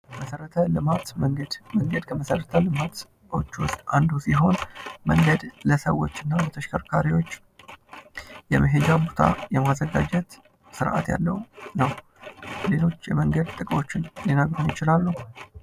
መሠረተ ልማት መንገድ ከመሰረተ ልማት ውስጥ አንዱ ሲሆን መንገድ ለሰዎች እና ለተሽከርካሪዎች የመሄጃ ቦታ የማዘጋጀት ስርአት ያለው ነው ።ሌሎች የመንገድ ጥቅሞች ሊነግሩን ይችላሉ?